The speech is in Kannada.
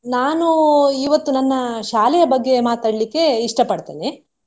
ನಾನು ಇವತ್ತು ನನ್ನ ಶಾಲೆಯ ಬಗ್ಗೆ ಮಾತಾಡ್ಲಿಕೆ ಇಷ್ಟ ಪಡ್ತೇನೆ.